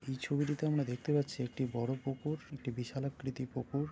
এই ছবিটিতে আমরা দেখতে পাচ্ছি একটি পুকুর একটি বিশাল আকৃতি পুকুর।